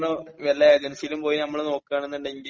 അവര് പറഞ്ഞു വല്ല ഏജൻസിയിലും പോയിട്ട് നമ്മൾ നോക്കുവാണെന്നുണ്ടെങ്കിൽ